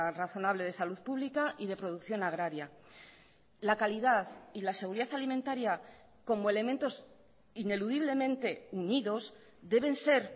razonable de salud pública y de producción agraria la calidad y la seguridad alimentaria como elementos ineludiblemente unidos deben ser